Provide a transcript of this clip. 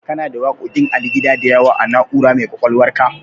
Kana da waƙoƙin Ali Gida da yawa a Na'ura mai ƙwaƙwalwarka?